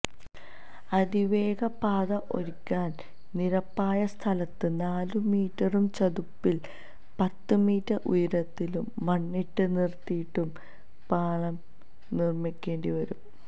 അതിവേഗ പാത ഒരുക്കാൻ നിരപ്പായ സ്ഥലത്ത് നാലു മീറ്ററും ചതുപ്പിൽ പത്ത് മീറ്റർ ഉയരത്തിലും മണ്ണിട്ട് നിരത്തിയും പാളം നിർമ്മിക്കേണ്ടിവരും